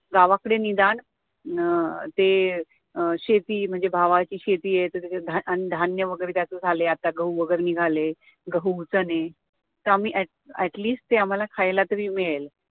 गावाकडे निदान अं ते अं शेती म्हणजे भावाची शेती आहे, तर त्याच्यात अन्नधान्य वगैरे कसे झाले, आता गहू वगैरे निघाले, गहू, चणे at least ते आम्हाला खायला तरी मिळेल